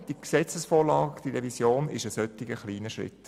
Diese Vorlage ist ein solch kleiner Schritt.